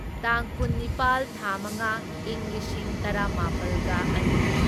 ꯇꯥꯡ ꯀꯨꯟꯅꯤꯄꯥꯜ ꯊꯥ ꯃꯉꯥ ꯢꯪ ꯂꯤꯁꯤꯡ ꯇꯔꯥꯃꯥꯄꯜꯒ ꯑꯅꯤ